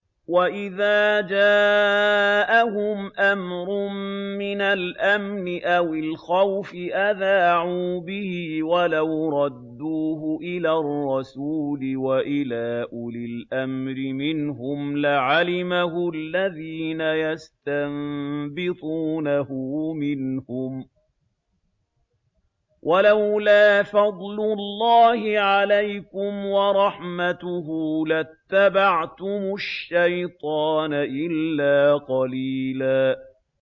وَإِذَا جَاءَهُمْ أَمْرٌ مِّنَ الْأَمْنِ أَوِ الْخَوْفِ أَذَاعُوا بِهِ ۖ وَلَوْ رَدُّوهُ إِلَى الرَّسُولِ وَإِلَىٰ أُولِي الْأَمْرِ مِنْهُمْ لَعَلِمَهُ الَّذِينَ يَسْتَنبِطُونَهُ مِنْهُمْ ۗ وَلَوْلَا فَضْلُ اللَّهِ عَلَيْكُمْ وَرَحْمَتُهُ لَاتَّبَعْتُمُ الشَّيْطَانَ إِلَّا قَلِيلًا